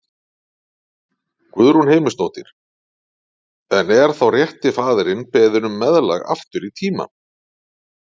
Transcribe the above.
Guðrún Heimisdóttir: En er þá rétti faðirinn beðinn um meðlag aftur í tímann?